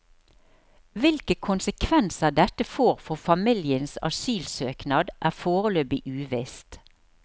Hvilke konsekvenser dette får for familiens asylsøknad, er foreløpig uvisst.